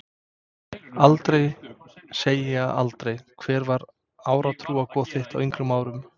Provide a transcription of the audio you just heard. Aldrei segja aldrei Hver var átrúnaðargoð þitt á yngri árum?